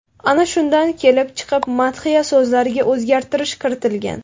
Ana shundan kelib chiqib madhiya so‘zlariga o‘zgartirish kiritilgan.